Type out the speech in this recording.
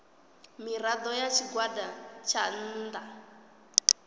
mirado ya tshigwada tsha nnda